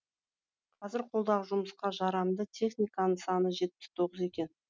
қазір қолдағы жұмысқа жарамды техниканың саны жетпіс тоғыз екен